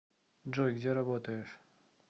джой где работаешь